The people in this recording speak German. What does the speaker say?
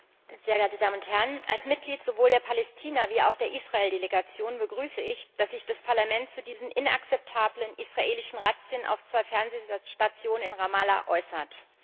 Herr Präsident, sehr geehrte Damen und Herren! Als Mitglied sowohl der Palästina als auch der Israeldelegation begrüße ich, dass sich das Parlament zu diesen inakzeptablen israelischen Razzien auf zwei Fernsehstationen in Ramallah äußert.